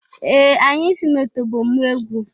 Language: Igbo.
Ee! Anyị si n'otobo mụọ egwu.